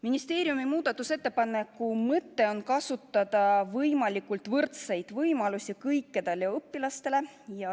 Ministeeriumi muudatusettepaneku mõte on kasutada võimalikult võrdseid võimalusi kõikidele õpilastele.